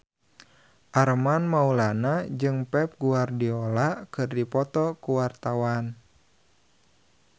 Armand Maulana jeung Pep Guardiola keur dipoto ku wartawan